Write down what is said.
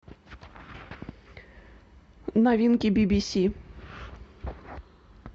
новинки би би си